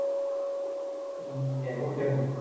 হম এখন কেমন আছে?